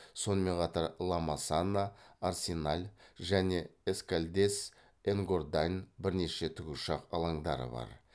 сонымен қатар ла масана арсеналь және эскальдес энгордань бірнеше тікұшақ алаңдары бар